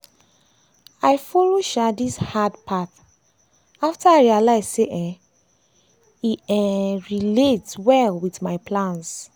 i follow um this hard path after i realize say um e um e relate well with all my plans.